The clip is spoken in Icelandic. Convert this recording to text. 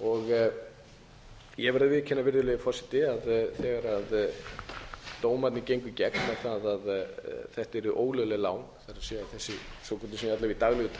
móti ég verð að viðurkenna virðulegi forseti að þegar dómarnir gengu í gegn um það að þetta yrðu ólögleg lán það er þessi svokölluðu sem í daglegu